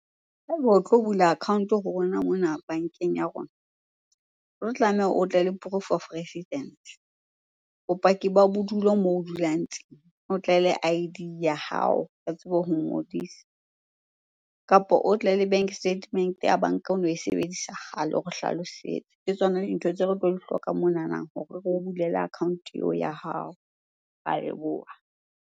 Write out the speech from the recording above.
Ha ebe o tlo bula account-o ho rona mona bankeng ya rona. O tlo tlameha o tle le proof of residence, bopaki ba bodulo moo o dulang teng, o tle le I_D ya hao re tsebe ho o ngodisa. Kapo o tle le bank statement-e ya banka ono e sebedisa kgale o re hlalosetse. Ke tsona dintho tseo re tlo di hloka monana hore re o bulele account-o eo ya hao. Re ya leboha.